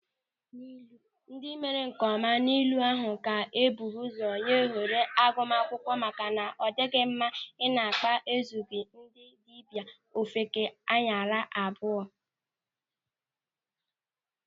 Ndị mere nkeọma n'ule ahụ ka e buru ụzọ nye ohere agụmaakwụkwọ maka na ọ dịghị mma na akpa ezughị ndị dibịa, ofeke anyara abụọ.